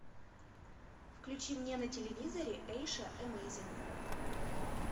включи мне на телевизоре эйша эмейзин